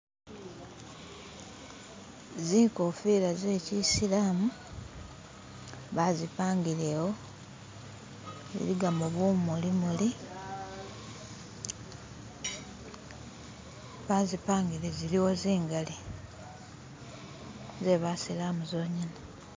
Zinkofila ze kyisilamu bazipangile awo ziligamo bumuli muli bazipangile ziliwo zingali zebasilamu zongene.